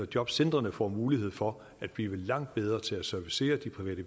jobcentrene får mulighed for at blive langt bedre til at servicere de private